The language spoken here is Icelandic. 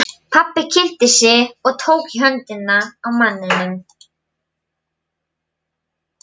Pabbi kynnti sig og tók í höndina á manninum.